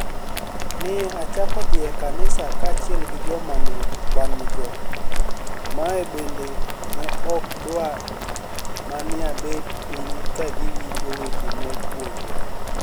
ni e achako dhi e kaniisa kaachiel gi joma ni e wani-go, ma benide ni e ok dwar mania bet piniy ka giwinijo weche mipuonijo.